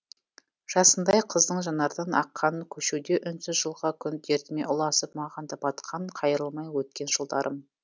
жасындай қыздың жанардан аққан көшуде үнсіз жылға күн дертіме ұласып маған да батқан қайрылмай өткен жылдарым